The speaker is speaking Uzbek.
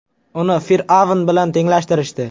Uni fir’avn bilan tenglashtirishdi.